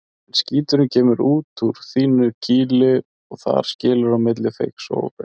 En skíturinn kemur út úr þínu kýli og þar skilur á milli feigs og ófeigs.